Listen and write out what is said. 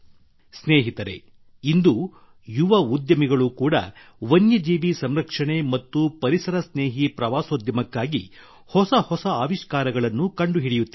ಸ್ನೇಹಿತರೇ ಇಂದು ಯುವ ಉದ್ಯಮಿಗಳು ಕೂಡಾ ವನ್ಯ ಜೀವಿ ಸಂರಕ್ಷಣೆ ಮತ್ತು ಪರಿಸರ ಸ್ನೇಹಿ ಪ್ರವಾಸೋದ್ಯಮಕ್ಕಾಗಿ ಹೊಸ ಹೊಸ ಆವಿಷ್ಕಾರಗಳನ್ನು ಕಂಡುಹಿಡಿಯುತ್ತಿದ್ದಾರೆ